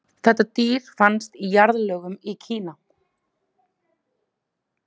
þetta dýr fannst í jarðlögum í kína